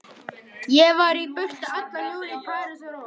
Ég var í burtu allan júlí, í París og Róm.